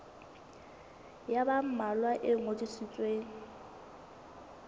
ya ba mmalwa e ngodisitsweng